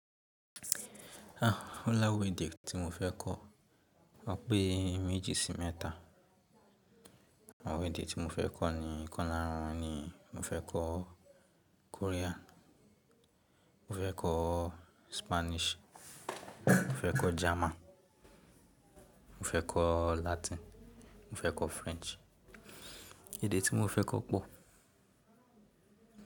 Ha! Ọ ni awón èdè tí mo fẹ́ kọ́, wọ́n pè mèjì sí mẹ́ta. Àwọn èdè tí mo fẹ́ kọ́ ni ìkan lárá wọn ni mo fẹ́ kọ́ Korean, mo fẹ́ kọ́ Spanish, mo fẹ́ kọ́ German, mo fẹ́ kọ́ Latin, mo fẹ́ kọ́ French. Èdè tí mo fẹ́ kọ́ pọ̀